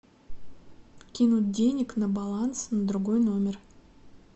кинуть денег на баланс на другой номер